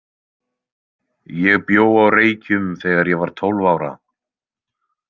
Ég bjó á Reykjum þegar ég var tólf ára.